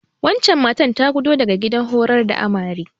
Wancen matar ta gudo daga gidan horar da Amare.